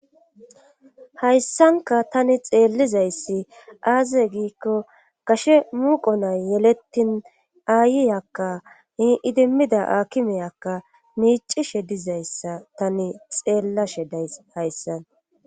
hayssanka tani xeellizayssi aaze giikko kashe muuqo nay yelettin aayiyakka iidimmida akimeyakka miicishe dizayssa tani xeellashe days hayssan